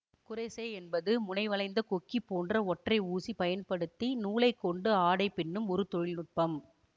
crochet என்பது முனை வளைந்த கொக்கி போன்ற ஒற்றை ஊசி பயன்படுத்தி நூலை கொண்டு ஆடைபின்னும் ஒரு தொழில்நுட்பம்